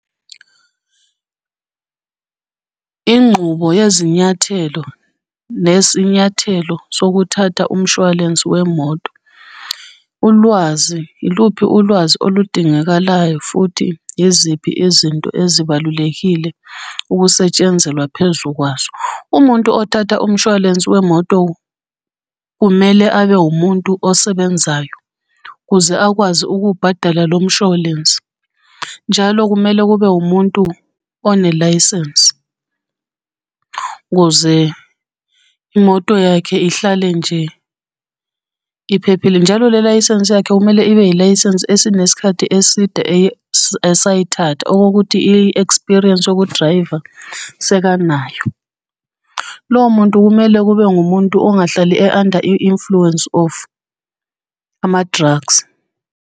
Inqubo yezinyathelo nesinyathelo sokuthatha umshwalense wemoto. Ulwazi, yiluphi ulwazi oludingakalayo futhi yiziphi izinto ezibalulekile ukusetshenzelwa phezu kwazo? Umuntu othatha umshwalense wemoto, kumele abe wumuntu osebenzayo ukuze akwazi ukubhadala lomshwalense. Njalo kumele kube umuntu onelayisensi ukuze imoto yakhe ihlale nje iphephile. Njalo le layisensi yakhe kumele ibe yilayisensi esinesikhathi eside, esayithatha okokuthi i-experience yokudrayiva sekanayo. Lowo muntu kumele abe ngumuntu ongahlali e-under influence of ama-drugs.